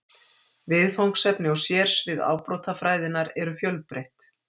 Viðfangsefni og sérsvið afbrotafræðinnar eru fjölbreytt.